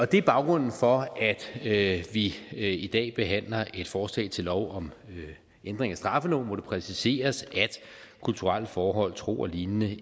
det er baggrunden for at vi i dag behandler et forslag til lov om ændring af straffeloven hvor det præciseres at kulturelle forhold tro og lignende